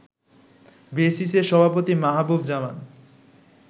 বেসিস-এর সভাপতি মাহবুব জামান